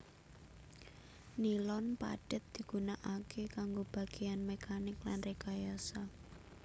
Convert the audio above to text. Nilon padhet digunakaké kanggo bagéyan mekanik lan rekayasa